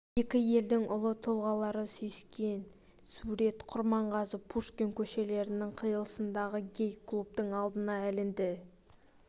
екі елдің ұлы тұлғалары сүйіскен сурет құрманғазы-пушкин көшелерінің қиылысындағы гей-клубтың алдына ілінді